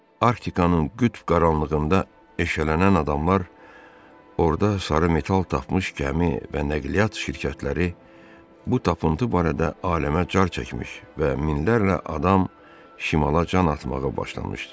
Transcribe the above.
Arktikanın qütb qaranlığında eşələnən adamlar, orda sarı metal tapmış gəmi və nəqliyyat şirkətləri bu tapıntı barədə aləmə car çəkmiş və minlərlə adam şimala can atmağa başlamışdı.